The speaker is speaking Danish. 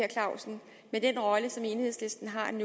vil den rolle som enhedslisten har nu